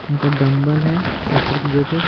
यहां पर डंबल है सत्तर कीलो कि --